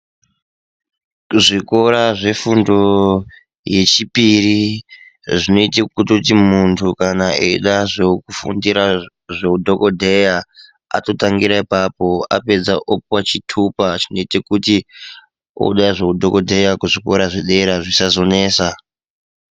Zvikora zvefundo yechipiri zvinoite kutoti munhu kana eide zvekufundira zveudhokodheya atotangira apapo apedza opuwa chitupa chinoite kuti oode zveudhokodheya kuzvikora zvedera zvisazonesa.